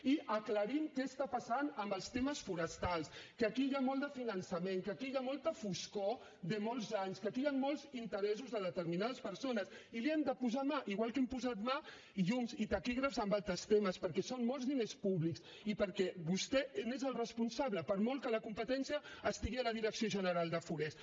i aclarim què està passant amb els temes forestals que aquí hi ha molt de finançament que aquí hi ha molta foscor de molts anys que aquí hi han molts interessos de determinades persones i hi hem de posar mà igual que hem posat mà llums i taquígrafs en altres temes perquè són molts diners públics i perquè vostè n’és el responsable per molt que la competència estigui a la direcció general de forests